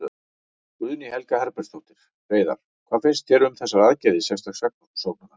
Guðný Helga Herbertsdóttir: Hreiðar, hvað finnst þér um þessar aðgerðir sérstaks saksóknara?